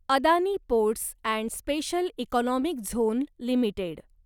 Adani ports and special economic zone limited